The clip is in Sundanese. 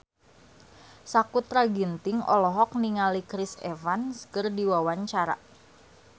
Sakutra Ginting olohok ningali Chris Evans keur diwawancara